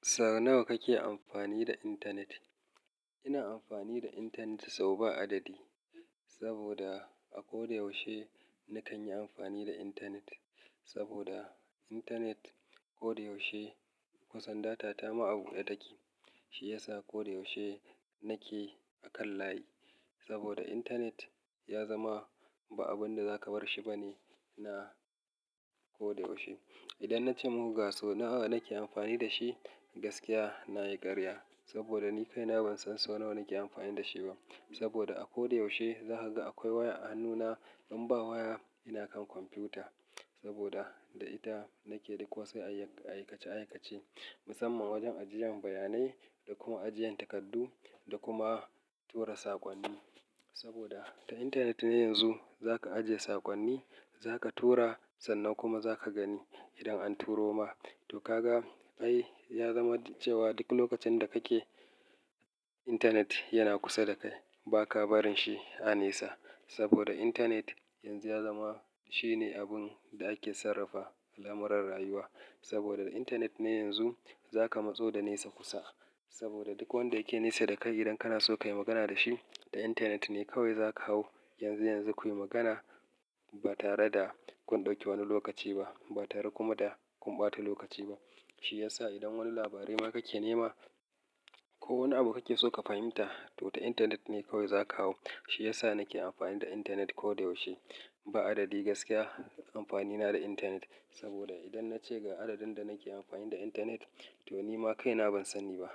Sau nawa kake amfani da internet? Ina amfani da internet sau ba adadi. Saboda a ko da yaushe na kan yi amfani da internet. Saboda internet ko da yaushe kusan data ta maɓu ya taki. Shi ya sa ko da yaushe nake a kan layi. Saboda internet ya zama ba abin da za ka bar shi ba ne, na ko da yaushe. Idan na ce mun ga sau nawa nake amfani da shi, gaskiya na yi ƙarya. Saboda ni kaina ban san sau nawa nake amfani da shi ba. Saboda a ko da yaushe za ka ga akwai waya a hannuna. In ba waya, ina kan kwamfuta. Saboda da ita nake ɗauko wasu ayyuka aikace aikace, musamman wajen ajiyan bayanai da kuma ajiyan takardu da kuma tura saƙonni. Saboda ta internet ne yanzu za ka ajiye saƙonni, za ka tura sannan kuma za ka gani idan an turo ma. To ka ga? Ai ya zama cewa duk lokacin da kake internet yana kusa da kai ba ka barin shi a nesa. Saboda internet yanzu ya zama shine abun da ake sarrafa al'amuran rayuwa. Saboda da internet ne yanzu za ka matso da nesa kusa. Saboda duk wanda yake nesa da kai idan kana so ka yi magana da shi, ta internet ne kawai za ka hau. Yanzu yanzu kuyi magana ba tare da kun ɗauki wani lokaci ba, ba tare kuma da kun ɓata lokaci ba. Shi ya sa idan wani labari ma kake nema ko wani abu kake so ka fahimta, to ta internet ne kawai za ka hau. Shi ya sa nake amfani da internet ko da yaushe. Ba adadi gaskiya amfani na da internet. Saboda idan na ce ga adadin da nake amfani da internet, to ni ma kaina ban sani ba.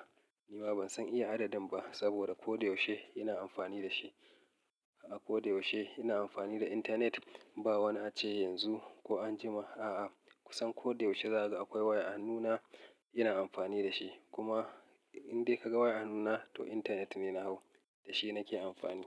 Ni ma ban san iya adadin ba saboda ko da yaushe ina amfani da shi. A ko da yaushe ina amfani da internet. Ba wani ace yanzu ko anjima, a'a kusan ko da yaushe za ka ga akwai waya a hannuna ina amfani da shi. Kuma indai ka ga waya a hannuna to internet ne na hau. Da shi nake amfani.